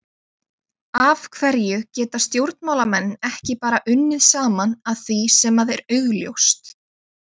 Af hverju geta stjórnmálamenn ekki bara unnið saman að því sem að er augljóst?